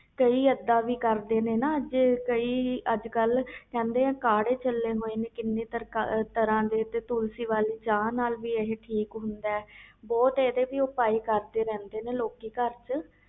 ਕਈ ਇਹਦਾ ਵੀ ਕਰਦੇ ਆ ਕਈ ਕੜ੍ਹੇ ਚਲੇ ਹੋਏ ਆ ਕੀਨੀ ਤਰਾਂ ਦੇ ਤੇ ਤੁਲਸੀ ਵਾਲੀ ਚਾਹ ਨਾਲ ਵੀ ਇਹ ਠੀਕ ਹੁੰਦਾ ਬਹੁਤ ਇਹਦੇ ਵੀ ਪਓਏ ਕਰਦੇ ਰਹਿ ਦੇ ਨੇ ਲੋਕ ਇਹਦੇ